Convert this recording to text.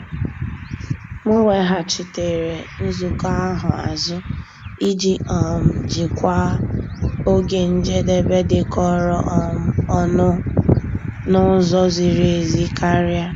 M weghachitere nzukọ ahụ azụ iji um jikwaa oge njedebe dịkọrọ um onụ n'ụzọ ziri ezi karịa.